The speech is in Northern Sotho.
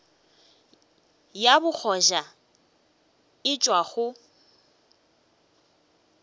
ya bogoja e tšwa go